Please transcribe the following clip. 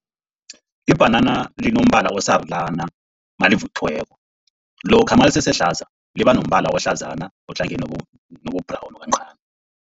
Ibhanana linombala osarulana nalivuthiweko, lokha nalisesehlaza liba nombala ohlazana ohlangeneko nobu-brown kancani.